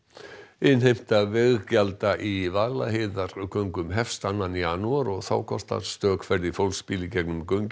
innheimta veggjalda í Vaðlaheiðargöngum hefst annar janúar og þá kostar stök ferð á fólksbíl í gegnum göngin